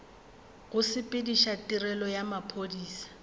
go sepediša tirelo ya maphodisa